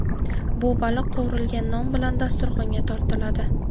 Bu baliq qovurilgan non bilan dasturxonga tortiladi.